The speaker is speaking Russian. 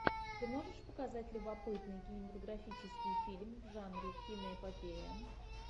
ты можешь показать любопытный кинематографический фильм в жанре киноэпопея